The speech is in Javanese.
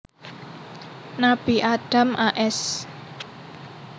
Nabi Adam a s